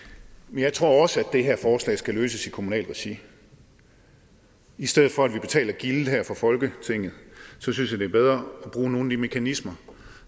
jeg tror også at det her forslag skal løses i kommunalt regi i stedet for at vi betaler gildet her fra folketinget synes jeg det bedre at bruge nogle af de mekanismer